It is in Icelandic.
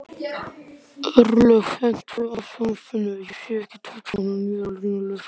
Örlygur, kveiktu á sjónvarpinu.